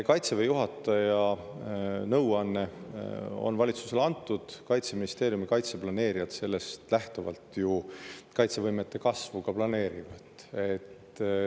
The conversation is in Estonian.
Kaitseväe juhataja nõuanne on valitsusele antud, Kaitseministeeriumi kaitseplaneerijad sellest lähtuvalt kaitsevõimete kasvu ka planeerivad.